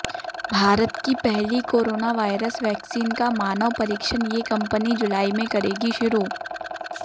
भारत की पहली corona virus vaccine का मानव परीक्षण ये कंपनी जुलाई में करेगी शुरू